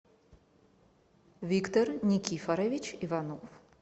виктор никифорович иванов